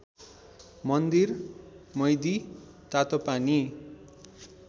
मन्दिर मैदी तातोपानी